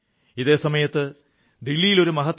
ഇതേ സമയത്ത് ദില്ലിയിൽ ഒരു മഹത്തായ ഒത്തുതീർപ്പിൽ ഒപ്പിട്ടു